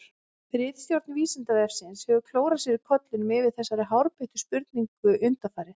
Ritstjórn Vísindavefsins hefur klórað sér í kollinum yfir þessari hárbeittu spurningu undanfarið.